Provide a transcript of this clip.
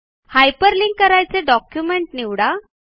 hyperlink करायाचे document निवडा